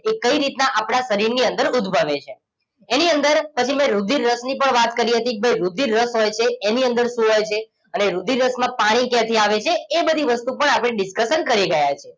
એ કઈ રીતના આપણા શરીરની અંદર ઉદભવે છે એની અંદર પછી મેં રુધિર રસની પણ વાત કરી હતી કે ભાઈ રુધિર રસ હોય છે એની અંદર શું હોય છે અને રુધિર રસમાં પાણી ક્યાંથી આવે છે એ બધી વસ્તુ પણ આપણે discussion કરી ગયા છીએ